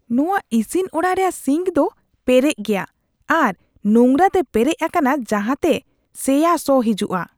ᱱᱚᱶᱟ ᱤᱥᱤᱱ ᱚᱲᱟᱜ ᱨᱮᱭᱟᱜ ᱥᱤᱝᱠ ᱫᱚ ᱯᱮᱨᱮᱪ ᱜᱮᱭᱟ ᱟᱨ ᱱᱳᱝᱨᱟ ᱛᱮ ᱯᱮᱨᱮᱪ ᱟᱠᱟᱱᱟ ᱡᱟᱦᱟᱸᱛᱮ ᱥᱚ ᱥᱮᱭᱟ ᱥᱚ ᱦᱤᱡᱩᱜᱼᱟ ᱾